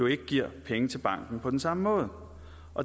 ikke giver penge til banken på den samme måde